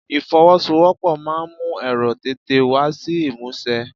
Ifowosowopo máa ń mú èrò tètè wá sí ìmúṣẹ.